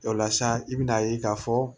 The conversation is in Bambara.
O la sisan i bɛna'a ye k'a fɔ